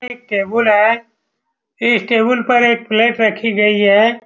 यह एक टेबुल है इस टेबुल पर एक प्लेट रखी गई है ।